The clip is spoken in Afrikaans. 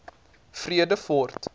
vredefort